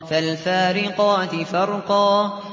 فَالْفَارِقَاتِ فَرْقًا